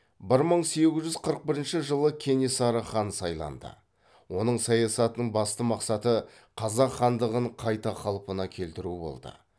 бір мың сегіз жүз қырық бірінші жылы кенесары хан сайланды оның саясатының басты мақсаты қазақ хандығын қайта қалпына келтіру болды